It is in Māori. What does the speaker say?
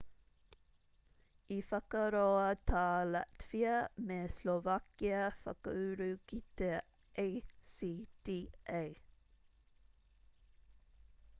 i whakaroa tā latvia me slovakia whakauru ki te acta